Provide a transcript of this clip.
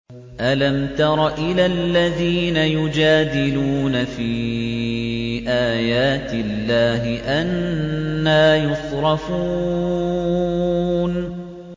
أَلَمْ تَرَ إِلَى الَّذِينَ يُجَادِلُونَ فِي آيَاتِ اللَّهِ أَنَّىٰ يُصْرَفُونَ